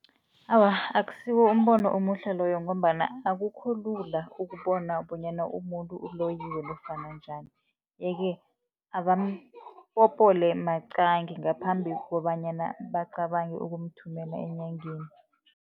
Awa, akusiwo umbono omuhle loyo, ngombana akukho lula ukubona bonyana umuntu uloyiwe nofana njani. Ye-ke abampopole maqangi ngaphambi kobanyana bacabange ukumthumela enyangeni.